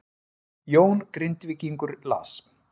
Jón Grindvíkingur las